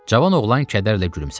Cavan oğlan kədərlə gülümsədi.